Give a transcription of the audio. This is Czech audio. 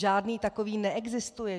Žádný takový neexistuje.